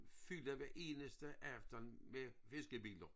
Fyldt hver eneste aften med fiskebiler